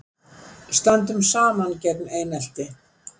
Stöndum saman gegn einelti